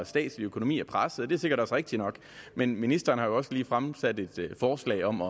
statslige økonomi er presset og det er sikkert også rigtigt nok men ministeren har jo også lige fremsat et forslag om